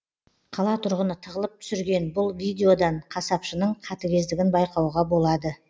қала тұрғыны тығылып түсірген бұл видеодан қасапшының қатігездігін байқауға болады